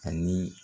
Ani